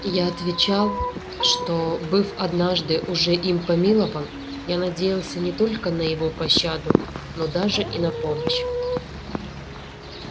я отвечал что быв однажды уже им помилован я надеялся не только на его пощаду но даже и на помощь